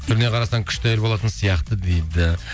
түріне қарасаң күшті әйел болатын сияқты дейді